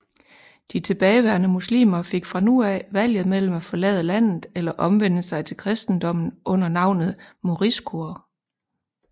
De tilbageværende muslimer fik fra nu af valget mellem at forlade landet eller omvende sig til kristendommen under navnet moriscoer